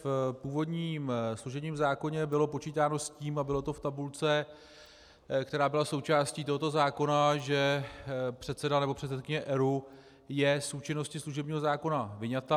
V původním služebním zákoně bylo počítáno s tím, a bylo to v tabulce, která byla součástí tohoto zákona, že předseda nebo předsedkyně ERÚ je z účinnosti služebního zákona vyňata.